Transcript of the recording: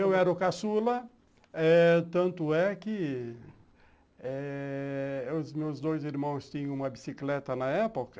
Eu era o caçula eh tanto é que os meus dois irmãos tinham uma bicicleta na época,